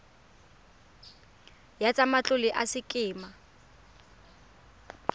ya tsa matlole ya sekema